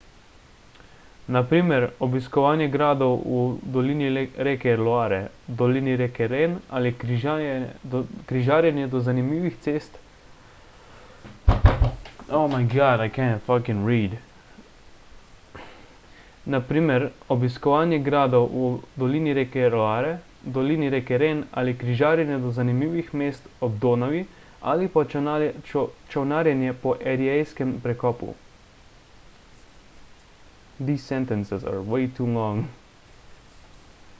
na primer obiskovanje gradov v dolini reke loare dolini reke ren ali križarjenje do zanimivih mest ob donavi ali pa čolnarjenje po eriejskem prekopu